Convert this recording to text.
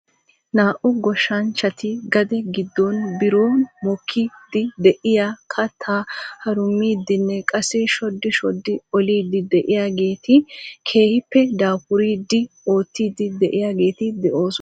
Naa"u goshshanchchati gade giddon biron mokkide de'iyaa kattaa harummidinne qassi shoddi shoddi olidi de'iyaageeti keehippe daafuridi oottidi de'iyaageeti de'oosona .